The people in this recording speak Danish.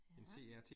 Ja